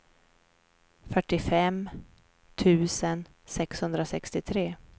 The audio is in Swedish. fyrtiofem tusen sexhundrasextiotre